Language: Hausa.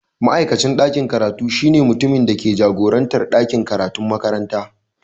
Ma'aikacin dakin karatu shine mutumin da ke jagorantar ɗakin karatun makaranta.